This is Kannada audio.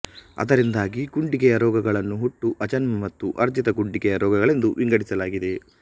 ಅದರಿಂದಾಗಿ ಗುಂಡಿಗೆಯ ರೋಗಗಳನ್ನು ಹುಟ್ಟು ಆಜನ್ಮ ಮತ್ತು ಅರ್ಜಿತ ಗುಂಡಿಗೆಯ ರೋಗಗಳೆಂದು ವಿಂಗಡಿಸಲಾಗಿದೆ